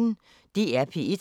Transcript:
DR P1